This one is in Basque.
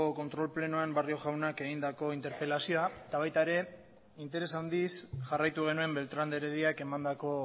kontrol plenoan barrio jaunak egindako interpelazioa eta baita ere interes handiz jarraitu genuen beltrán de herediak emandako